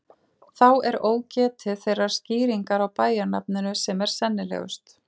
Þá er ógetið þeirrar skýringar á bæjarnafninu sem er sennilegust.